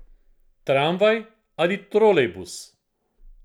Tramvaj ali trolejbus.